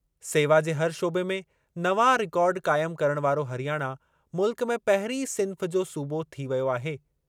सेवा जे हर शोबे में नवां रिकॉर्ड क़ाइम करणु वारो हरियाणा मुल्क में पहिरीं सिन्फ़ जो सूबो थी वियो आहे।